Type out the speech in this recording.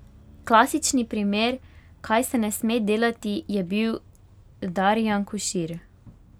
Klasični primer, kaj se ne sme delati, je bil Darijan Košir.